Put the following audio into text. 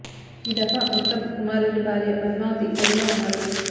ఈ దఫా ఉత్తమ్ కుమార్ రెడ్డి భార్య పద్మావతి బరిలో ఉన్నారు